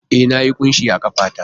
E, Na yi kunshi a ƙafa ta